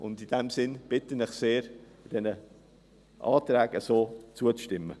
In diesem Sinne bitte ich Sie sehr, den Anträgen so zuzustimmen.